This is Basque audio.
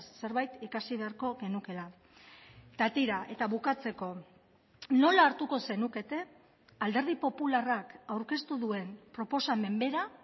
zerbait ikasi beharko genukeela eta tira eta bukatzeko nola hartuko zenukete alderdi popularrak aurkeztu duen proposamen bera